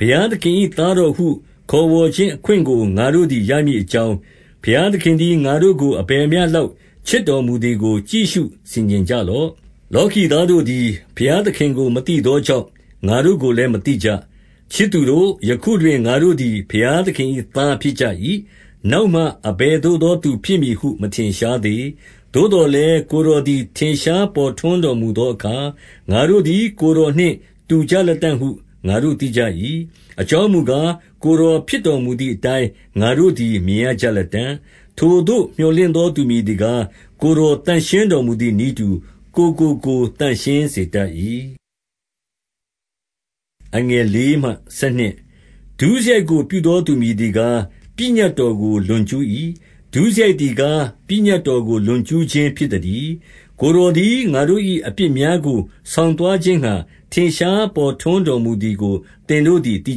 ဘုရားသခင်၏ သားတော်ဟုခေါ်ဝေါ်ခြင်းအခွင့်ကို ငါတို့သည်ရမည်အကြောင်း၊ ဘုရားသခင်သည် ငါတို့ကိုအဘယ်မျှလောက် ချစ်တော်မူသည်ကို ကြည့်ရှုဆင်ခြင်ကြလော့။ လောကီသားတို့သည် ဘုရားသခင်ကို မသိသောကြောင့်၊ ငါတို့ကိုလည်း မသိကြ။ 2 ချစ်သူတို့၊ ယခုတွင်ငါတို့သည် ဘုရားသခင်၏သားဖြစ်ကြ၏။ နောက်မှအဘယ်သို့သောသူဖြစ်မည်ဟု မထင်ရှားသေး။ သို့သော်လည်း ကိုယ်တော်သည် ထင်ရှားပေါ်ထွန်းတော်မူသောအခါ၊ ငါတို့သည် ကိုယ်တော်နှင့် တူကြလတံ့ဟု ငါတို့သိကြ၏။ အကြောင်းမူကား၊ ကိုယ်တော်ဖြစ်တော်မူသည်အတိုင်းကို ငါတို့သည် မြင်ရကြလတံ့။ 3 ထိုသို့မြော်လင့်သောသူမည်သည်ကား၊ ကိုယ်တော်သန့်ရှင်းတော်မူသည်နည်းတူ၊ ကိုယ်ကိုကိုယ် သန့်ရှင်း စေတတ်၏။ 4 ဒုစရိုက်ကို ပြုသောသူမည်သည်ကား၊ ပညတ်တော်ကို လွန်ကျူး၏။ ဒုစရိုက်သည်ကား ပညတ်တော်ကို လွန်ကျူးခြင်းဖြစ်သတည်း။ 5 ကိုယ်တော်သည် ငါတို့၏အပြစ်များကို ဆောင်သွားခြင်းငှါ ထင်ရှားပေါ်ထွန်းတော်မူသည်ကို သင်တို့ သိ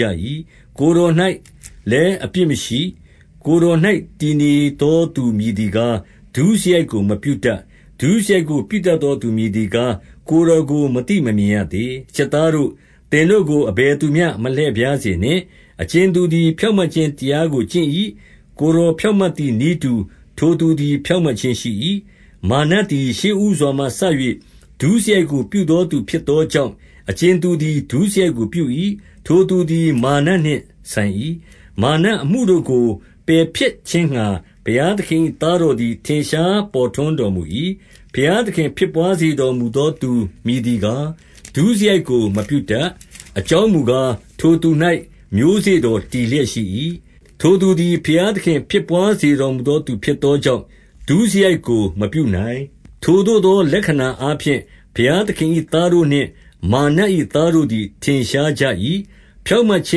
ကြ၏။ ကိုယ်တော်၌လည်း အပြစ်မရှိ။ 6 ကိုယ်တော်၌တည်နေသောသူမည်သည်ကား၊ ဒုစရိုက်ကို မပြုတတ်၊ ဒုစရိုက်ကို ပြုတတ်သောသူ မည်သည်ကား၊ ကိုယ်တော်ကိုမသိ မမြင်ရသေး။ 7 ချစ်သားတို့၊ သင်တို့ကို အဘယ်သူမျှ မလှည့်ဖြားစေနှင့်။ အကြင်သူသည် ဖြောင့်မတ်ခြင်းတရားကို ကျင့်၏။ ကိုယ်တော်ဖြောင့်မတ်တော်မူသည်နည်းတူ၊ ထိုသူသည်ဖြောင့်မတ်ခြင်းရှိ၏။ 8 မာရ်နတ်သည်ရှေ့ဦးစွာမှစ၍ ဒုစရိုက်ကိုပြုသောသူဖြစ်သောကြောင့်၊ အကြင်သူသည် ဒုစရိုက်ကို ပြု၏။ ထိုသူသည်မာရ်နတ်နှင့် ဆိုင်၏။ မာရ်နတ်အမှုတို့ကို ပယ်ဖျက်ခြင်းငှါ၊ ဘုရားသခင်၏ သားတော်သည် ထင်ရှားပေါ်ထွန်းတော်မူ၏။ 9 ဘုရားသခင်ဖြစ်ဘွားစေတော်မူသောသူ မည်သည်ကား၊ ဒုစရိုက်ကိုမပြုတတ်။ အကြောင်းမူကား၊ ထိုသူ၌ မျိုးစေ့တော်တည်လျက်ရှိ၏။ ထိုသူသည် ဘုရားသခင်ဖြစ်ဘွားစေတော်မူသောသူ ဖြစ်သောကြောင့် ဒုစရိုက်ကိုမပြုနိုင်။ 10 ထိုသို့သောလက္ခဏာအားဖြင့် ဘုရားသခင်၏ သားတို့နှင့် မာရ်နတ်၏သားတို့သည် ထင်ရှားကြ၏။ ဖြောင့်မတ်ခြ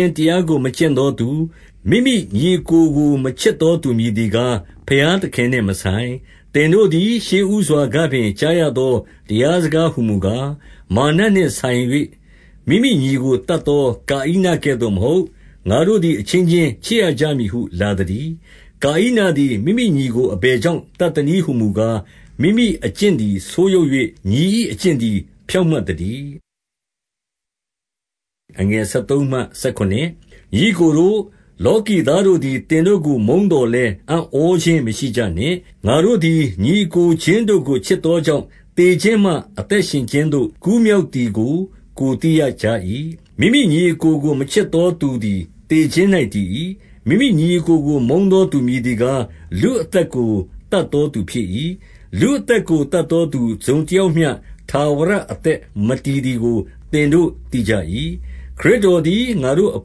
င်းတရားကို မကျင့်သောသူ၊ မိမိညီအစ်ကိုကိုမချစ်သောသူ မည်သည်ကား၊ ဘုရားသခင်နှင့်မဆိုင်။ 11 သင်တို့သည်ရှေ့ဦးစွာကပင် ကြားရသောတရားစကားဟူမူကား၊ မာရ်နတ်နှင့်ဆိုင်၍ မိမိညီကို သတ်သော ကာဣနကဲ့သို့မဟုတ်၊ ငါတို့သည် အချင်းချင်းချစ်ရကြမည်ဟုလာသတည်း။ 12 ကာဣနသည် မိမိညီကို အဘယ်ကြောင့် သတ်သနည်းဟူမူကား၊ မိမိအကျင့်သည် ဆိုးယုတ်၍၊ ညီ၏အကျင့်သည် ဖြောင့်မတ်သတည်း။ 13 ညီအစ်ကိုတို့၊ လောကီသားတို့သည် သင်တို့ကို မုန်းသော်လည်း အံ့ဩခြင်းမရှိကြနှင့်။ 14 ငါတို့သည် ညီအစ်ကိုချင်းတို့ကို ချစ်သောကြောင့်၊ သေခြင်းမှ အသက်ရှင်ခြင်းသို့ ကိုယ်ကူးမြောက် သည်ကို ကိုယ်သိရကြ၏။ မိမိ ညီအစ်ကိုကို မချစ်သောသူသည် သေခြင်း၌တည်၏။ 15 မိမိညီအစ်ကိုကိုမုန်းသောသူမည်သည်ကား၊ လူအသက်ကို သတ်သောသူဖြစ်၏။ လူအသက်ကို သတ်သောသူ တစုံတယောက်၌မျှ ထာဝရအသက် မတည်သည်ကို သင်တို့သိကြ၏။ 16 ခရစ်တော်သည် ငါတို့အ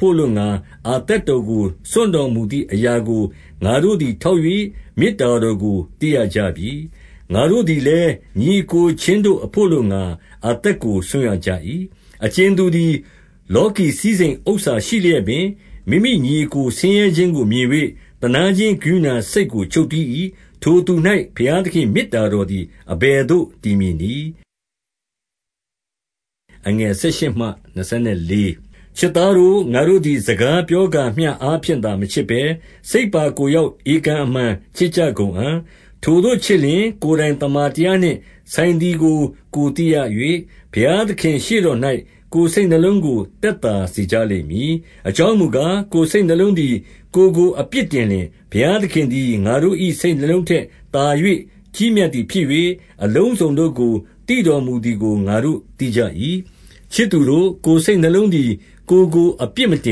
ဘို့အလိုငှါ အသက်တော်ကို စွန့်တော်မူသည်အရာကို ငါတို့သည် ထောက်၍၊ မေတ္တာတော်ကို သိရကြပြီ။ ငါတို့သည်လည်း ညီအစ်ကိုချင်းတို့အဘို့အလိုငှါ အသက်ကိုစွန့်ရကြ၏။ 17 အကြင်သူသည် လောကီစည်းစိမ်ဥစ္စာရှိလျက်ပင်၊ မိမိညီအစ်ကိုဆင်းရဲခြင်းကိုမြင်၍၊ သနားခြင်း ကရုဏာစိတ်ကို ချုပ်တည်း၏။ ထိုသူ၌ဘုရားသခင်၏ မေတ္တာတော်သည် အဘယ်သို့တည်မည်နည်း။ 18 ချစ်သားတို့၊ ငါတို့သည် စကားပြောကာမျှအားဖြင့်သာ မချစ်ဘဲ၊ စိတ်ပါကိုယ်ရောက် ဧကန်အမှန် ချစ်ကြကုန်အံ့။ 19 ထိုသို့ချစ်လျှင်၊ ကိုယ်တိုင်သမ္မာတရားနှင့် ဆိုင်သည်ကို ကိုယ်သိရ၍၊ ဘုရားသခင့်ရှေ့တော်၌ ကိုယ်စိတ်နှလုံးကို သက်သာစေကြလိမ့်မည်။ 20 အကြောင်းမူကား၊ ကိုယ်စိတ်နှလုံးသည် ကိုယ်ကိုအပြစ်တင်လျှင်၊ ဘုရားသခင်သည် ငါတို့၏ စိတ်နှလုံး ထက်သာ၍ ကြီးမြတ်သည်ဖြစ်၍၊ အလုံးစုံတို့ကို သိတော်မူသည်ကို ငါတို့သိကြ၏။ 21 ချစ်သူတို့၊ ကိုယ်စိတ်နှလုံးသည် ကိုယ်ကို အပြစ်မတ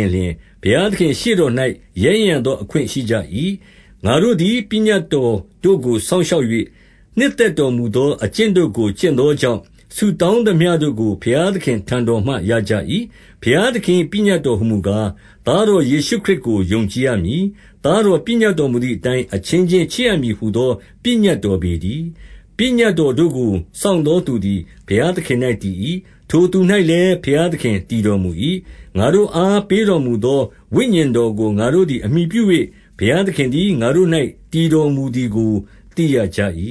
င်လျှင်၊ ဘုရားသခင့်ရှေ့တော်၌ ရဲရင့်ရသော အခွင့် ရှိကြ၏။ 22 ငါတို့သည် ပညတ်တော်တို့ကို စောင့်ရှောက်၍၊ နှစ်သက်တော်မူသောအကျင့်တို့ကို ကျင့်သောကြောင့်၊ ဆုတောင်းသမျှတို့ကိုဘုရားသခင့် ထံတော်မှရကြ၏။ 23 ဘုရားသခင်၏ပညတ်တော်ဟူမူကား၊ သားတော်ယေရှုခရစ်ကို ယုံကြည်ရမည်။ သားတော်ပညတ် တော်မူသည်အတိုင်း၊ အချင်းချင်း ချစ်ရမည်ဟူသော ပညတ်တော်ပေတည်း။ 24 ပညတ်တော်တို့ကို စောင့်သောသူသည် ဘုရားသခင်၌တည်၏။ ထိုသူ၌လည်း ဘုရားသခင် တည်တော်မူ၏။ ငါတို့အားပေးတော်မူသော ဝိညာဉ်တော်ကို ငါတို့သည်အမှီပြု၍၊ ဘုရားသခင်သည်ငါတို့၌ တည်တော်မူသည်ကိုသိရကြ၏